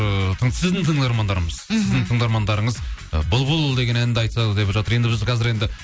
ыыы сіздің тыңдармандарыңыз ы бұлбұл деген әнді айтса деп жатыр енді біз қазір енді